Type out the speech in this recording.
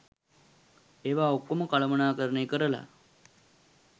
ඒවා ඔක්කොම කළමණාකරණය කරලා